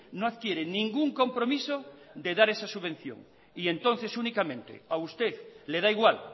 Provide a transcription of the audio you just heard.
no adquieren ningún compromiso de dar esa subvención y entonces únicamente a usted le da igual